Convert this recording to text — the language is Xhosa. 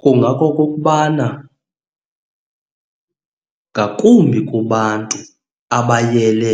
Kungakokokubana ngakumbi kubantu abayele,